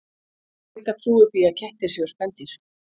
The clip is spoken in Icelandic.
Sigga trúir því að kettir séu spendýr.